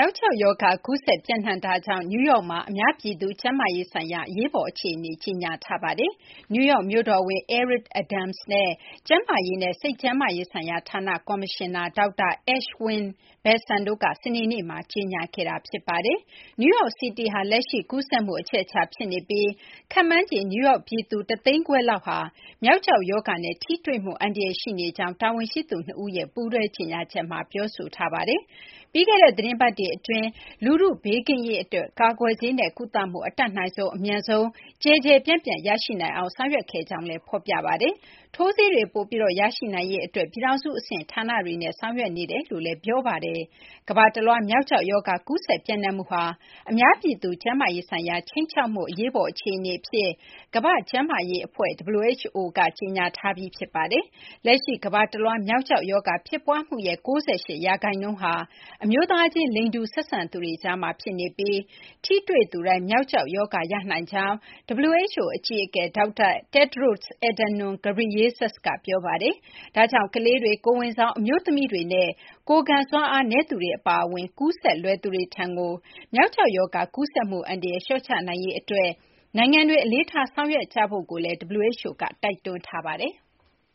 ောက်ကျောက်ရောဂါ ကူးစက် ပျံ့နှံ့မှုကြောင့် နယူးယောက်မှာ အများပြည်သူ ကျန်းမာရေးဆိုင်ရာ အရေးပေါ်အခြေအနေ ကြေညာထားပါတယ်။ နယူးယောက် မြို့တော်ဝန် Eric Adams နဲ့ ကျန်းမာရေးနဲ့ စိတ်ကျန်းမာရေးဆိုင်ရာဌာန ကော်မရှင်နာ ဒေါက်တာ Ashwin Vasan တို့က စနေနေ့မှာ ကြေညာခဲ့တာပါ။ New York City ဟာ လက်ရှိ ကူးစက်မှု အချက်အချာ ဖြစ်နေပြီး ခန့်မှန်းခြေ နယူးယောက် ပြည်သူ ၁၅၀,၀၀၀ လောက်ဟာ မျောက်ကျောက် ရောဂါနဲ့ ထိတွေ့မှု အန္တရာယ် ရှိနေကြောင်း တာဝန်ရှိသူ ၂ ဦးက ပူးတွဲကြေညာချက်မှာ ပြောဆိုထားပါတယ်။ ပြီးခဲ့တဲ့ သီတင်းပတ်တွေ အတွင်းမှာ လူထု ဘေးကင်းရေး အတွက် ကာကွယ်ဆေးနဲ့ ကုသမှု အတတ်နိုင်ဆုံး အမြန်ဆုံး ကျယ်ကျယ်ပြန့်ပြန့် ရရှိနိုင်အောင် ဆောင်ရွက်ခဲ့ကြောင်းလည်း ဖော်ပြပါတယ်။ ထိုးဆေးတွေ ပိုပြီး ရရှိနိုင်ရေး အတွက်လည်း ပြည်ထောင်စု အဆင့် ဌာနတွေနဲ့ ဆောင်ရွက်နေကြောင်း ဖော်ပြပါတယ်။ ကမ ္ဘာတလွှား မျောက်ကျောက် ရောဂါ ကူးစက် ပျံ့နှံ့မှုဟာ အများပြည်သူ ကျန်းမာရေးဆိုင်ရာ ခြိမ်းခြောက်မှု အရေးပေါ် အခြေအနေ အဖြစ် ကမ ္ဘာ့ကျန်းမာရေး အဖွဲ့ WHO က ကြေညာထားပြီး ဖြစ်ပါတယ်။ လက်ရှိ ကမ္ဘာတလွှား မျောက်ကျောက် ရောဂါ ဖြစ်ပွားမှုရဲ့ ၉၈ ရာခိုင်နှုန်းဟာ အမျိုးသားချင်း လိင်တူ ဆက်ဆံသူတွေကြားမှာ ဖြစ်နေပြီး ထိတွေ့ သူတိုင်း မျောက်ကျောက် ရောဂါ ရနိုင်ကြောင်း WHO အကြီးအကဲ ဒေါက်တာ Tedros Adhanom Ghebreyesus က ပြောပါတယ်။ ဒါကြောင့် ကလေးတွေ၊ ကိုယ်ဝန်ဆောင် အမျိုးသမီးတွေနဲ့ ကိုယ်ခံစွမ်းအားနည်းသူတွေ အပါအဝင် ကူးစက်လွယ်သူတွေထံကို မျောက်ကျောက် ရောဂါ ကူးစက်မှု အန္တရာယ် လျှော့ချနိုင်ရေး အတွက် နိုင်ငံတွေ အလေးထား ဆောင်ရွက်ကြဖို့လည်း WHO က တိုက်တွန်းထားပါတယ်။